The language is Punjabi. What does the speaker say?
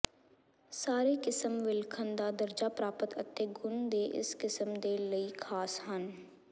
ਸਾਰੇ ਕਿਸਮ ਵਿਲੱਖਣ ਦਾ ਦਰਜਾ ਪ੍ਰਾਪਤ ਅਤੇ ਗੁਣ ਦੇ ਇਸ ਕਿਸਮ ਦੇ ਲਈ ਖਾਸ ਹਨ